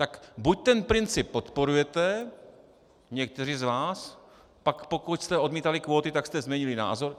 Tak buď ten princip podporujete, někteří z vás, pak pokud jste odmítali kvóty, tak jste změnili názor.